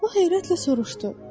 O heyrətlə soruştu.